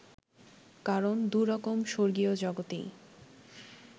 কারণ দু রকম স্বর্গীয় জগতেই